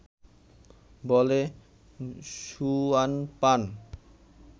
বলে সুয়ান পান